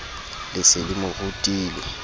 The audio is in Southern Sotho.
le se le mo rutile